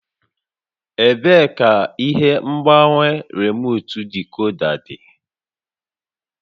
Ebee ka ihe ngbanwe remuutu dikoda dị?